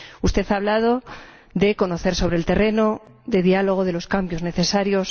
Usted ha hablado de conocer sobre el terreno, de diálogo, de los cambios necesarios...